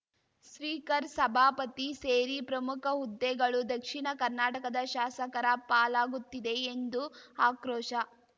speaker ಸಭಾಪತಿ ಸೇರಿ ಪ್ರಮುಖ ಹುದ್ದೆಗಳು ದಕ್ಷಿಣ ಕರ್ನಾಟಕದ ಶಾಸಕರ ಪಾಲಾಗುತ್ತಿದೆ ಎಂದು ಆಕ್ರೋಶ